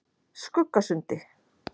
Skuggasundi